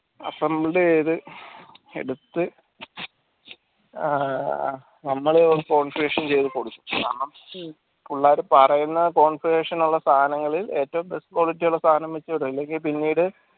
assemble ചെയ്ത് എടുത്ത് ഏർ നമ്മള് യത്‌ കൊടുക്കു കാരണം പുള്ളാര് പറീന ഉള്ള സനങ്ങള് ഏറ്റവും best quality വെച്ചൂടെ അല്ലെങ്കിൽ പിന്നീട്